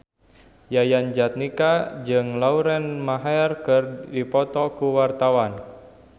Yayan Jatnika jeung Lauren Maher keur dipoto ku wartawan